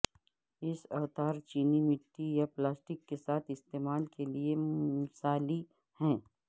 اس اوتار چینی مٹی یا پلاسٹک کے ساتھ استعمال کے لئے مثالی ہے